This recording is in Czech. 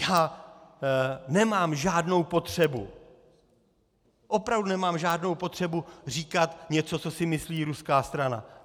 Já nemám žádnou potřebu, opravdu nemám žádnou potřebu říkat něco, co si myslí ruská strana.